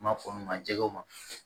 N b'a fɔ min ma jɛgɛw ma